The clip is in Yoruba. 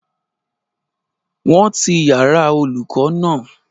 Wọ́n ti yàrá-olùkọ́ náà